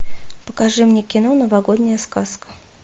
покажи мне кино новогодняя сказка